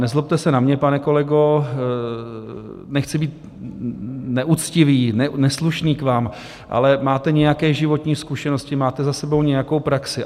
Nezlobte se na mě, pane kolego, nechci být neuctivý, neslušný k vám, ale máte nějaké životní zkušenosti, máte za sebou nějakou praxi.